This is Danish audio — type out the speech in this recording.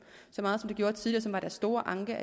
så meget som det gjorde tidligere deres store anke